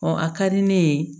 a ka di ne ye